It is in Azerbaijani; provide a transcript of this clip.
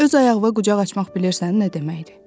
Öz ayağına qucaq açmaq bilirsən nə deməkdir?